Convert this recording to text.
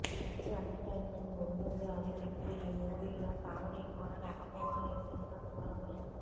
ఎక్కువ ఎంటర్టైన్మెంట్ ఉంటుంది అని చెప్పిన ఈ మూవీలో కామెడీ కూడా లేకపోవడం ఈ సినిమాకి మరో మైనస్